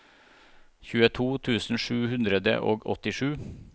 tjueto tusen sju hundre og åttisju